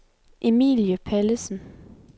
Emilie Pallesen